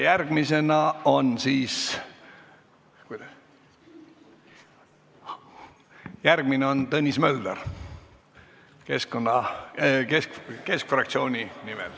Järgmine kõneleja on Tõnis Mölder, kes võtab sõna Keskerakonna fraktsiooni nimel.